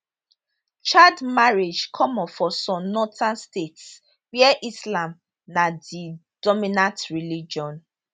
child marriage common for some northern states where islam na di dominant religion